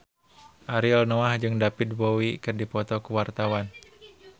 Ariel Noah jeung David Bowie keur dipoto ku wartawan